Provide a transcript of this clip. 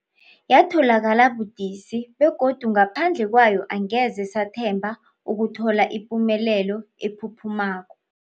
Yatholakala budisi, begodu ngaphandle kwayo angeze sathemba ukuthola ipumelelo ephuphumako.